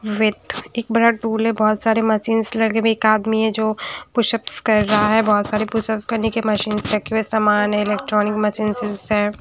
वेद एक बड़ा टूल है बहोत सारी मशीन्स लगे हुए एक आदमी है जो पुश अप्स कर रहा है बहोत सारे पुशअप करने की मशीन्स रखे हुए है सामान इलेक्ट्रॉनिक मशीन्स है।